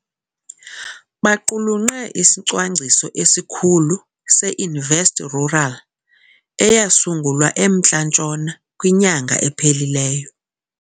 Baqulunqe iSicwangciso esiKhulu se-InvestRural, eyasungulwa eMntla Ntshona kwinyanga ephelileyo.